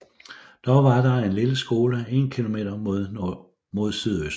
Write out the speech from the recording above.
Dog var der en lille skole 1 km mod sydøst